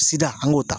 Sida an k'o ta